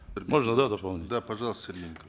можно да дополнительно да пожалуйста сергей